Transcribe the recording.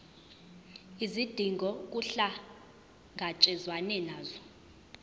izidingo kuhlangatshezwane nazo